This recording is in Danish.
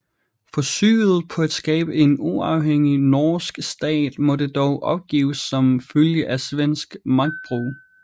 Forsøget på at skabe en uafhængig norsk stat måtte dog opgives som følge af svensk magtbrug